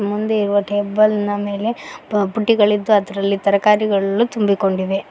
ಮುಂದೆ ಇರುವ ಟೇಬಲ್ ನ ಮೇಲೆ ಪುಟ್ಟಿಗಳಿದ್ದು ಅದರಲ್ಲಿ ತರಕಾರಿಗಳು ತುಂಬಿಕೊಂಡಿವೆ